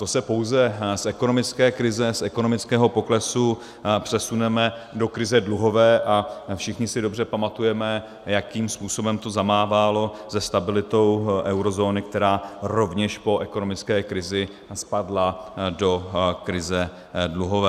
To se pouze z ekonomické krize, z ekonomického poklesu přesuneme do krize dluhové, a všichni si dobře pamatujeme, jakým způsobem to zamávalo se stabilitou eurozóny, která rovněž po ekonomické krizi spadla do krize dluhové.